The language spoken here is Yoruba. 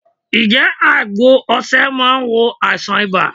Ǹ jé àgbo osè máa n wo àìsàn ibà